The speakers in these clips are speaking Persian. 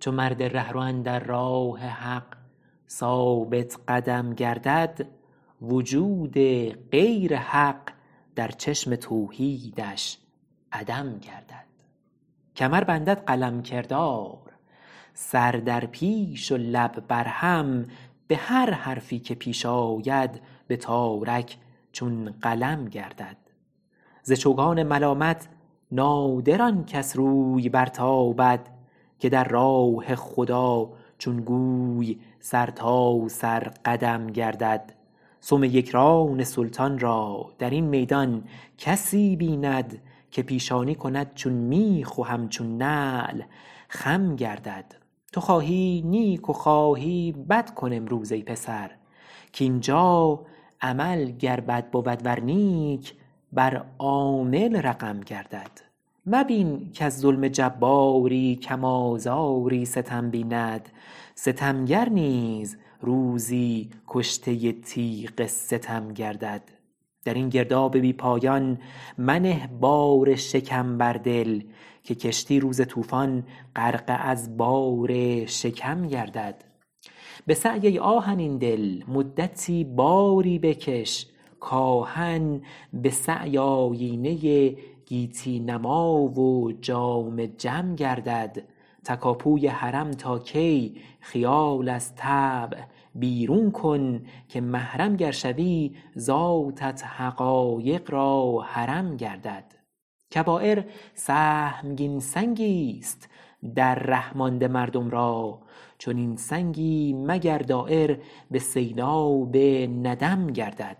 چو مرد رهرو اندر راه حق ثابت قدم گردد وجود غیر حق در چشم توحیدش عدم گردد کمر بندد قلم کردار سر در پیش و لب بر هم به هر حرفی که پیش آید به تارک چون قلم گردد ز چوگان ملامت نادر آن کس روی برتابد که در راه خدا چون گوی سر تا سر قدم گردد سم یکران سلطان را در این میدان کسی بیند که پیشانی کند چون میخ و همچون نعل خم گردد تو خواهی نیک و خواهی بد کن امروز ای پسر کاینجا عمل گر بد بود ور نیک بر عامل رقم گردد مبین کز ظلم جباری کم آزاری ستم بیند ستمگر نیز روزی کشته تیغ ستم گردد در این گرداب بی پایان منه بار شکم بر دل که کشتی روز طوفان غرقه از بار شکم گردد به سعی ای آهنین دل مدتی باری بکش کآهن به سعی آیینه گیتی نما و جام جم گردد تکاپوی حرم تا کی خیال از طبع بیرون کن که محرم گر شوی ذاتت حقایق را حرم گردد کبایر سهمگین سنگیست در ره مانده مردم را چنین سنگی مگر دایر به سیلاب ندم گردد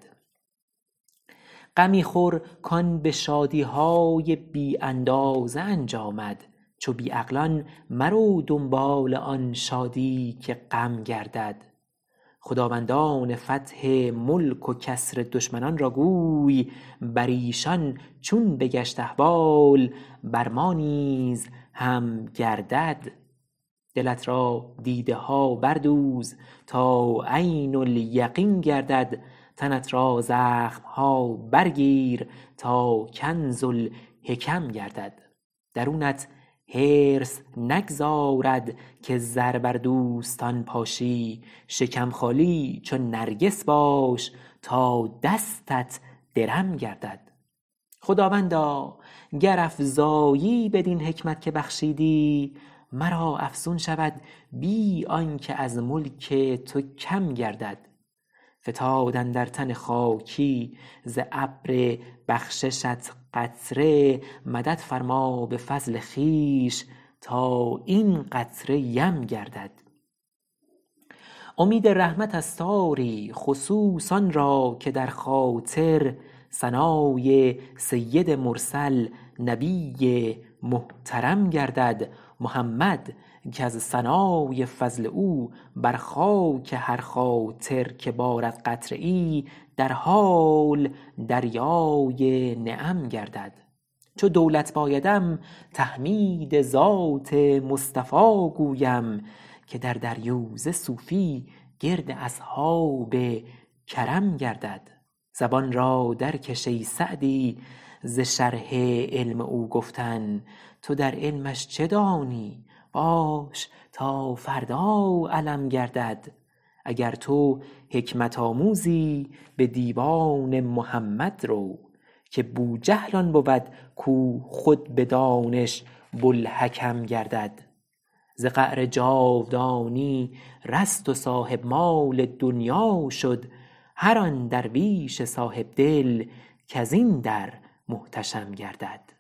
غمی خور کان به شادی های بی اندازه انجامد چو بی عقلان مرو دنبال آن شادی که غم گردد خداوندان فتح ملک و کسر دشمنان را گوی بر ایشان چون بگشت احوال بر ما نیز هم گردد دلت را دیده ها بردوز تا عین الیقین گردد تنت را زخم ها برگیر تا کنز الحکم گردد درونت حرص نگذارد که زر بر دوستان پاشی شکم خالی چو نرگس باش تا دستت درم گردد خداوندا گر افزایی بدین حکمت که بخشیدی مرا افزون شود بی آنکه از ملک تو کم گردد فتاد اندر تن خاکی ز ابر بخششت قطره مدد فرما به فضل خویش تا این قطره یم گردد امید رحمتست آری خصوص آن را که در خاطر ثنای سید مرسل نبی محترم گردد محمد کز ثنای فضل او بر خاک هر خاطر که بارد قطره ای در حال دریای نعم گردد چو دولت بایدم تحمید ذات مصطفی گویم که در دریوزه صوفی گرد اصحاب کرم گردد زبان را درکش ای سعدی ز شرح علم او گفتن تو در علمش چه دانی باش تا فردا علم گردد اگر تو حکمت آموزی به دیوان محمد رو که بوجهل آن بود کو خود به دانش بوالحکم گردد ز قعر جاودانی رست و صاحب مال دنیا شد هر آن درویش صاحبدل کز این در محتشم گردد